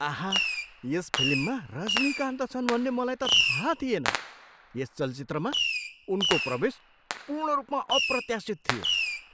आहा! यस फिल्ममा रजनीकान्त छन् भन्ने मलाई त थाहा थिएन। यस चलचित्रमा उनको प्रवेश पूर्ण रूपमा अप्रत्याशित थियो।